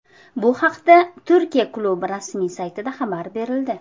Bu haqda Turkiya klubi rasmiy saytida xabar berildi .